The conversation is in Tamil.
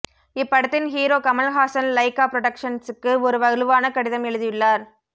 இப்படத்தின் ஹீரோ கமல்ஹாசன் லைகா புரொடக்ஷன்ஸுக்கு ஒரு வலுவான கடிதம் எழுதியுள்ளார்